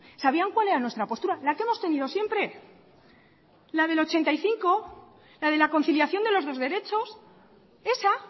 sabían cual era nuestra postura la que hemos tenido siempre la de mil novecientos ochenta y cinco la de la conciliación de los dos derechos esa